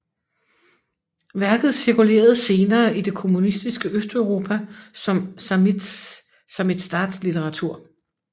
Værket cirkulerede senere i det kommunistiske Østeuropa som samizdatlitteratur